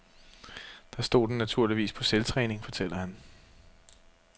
Der stod den naturligvis på selvtræning, fortæller han.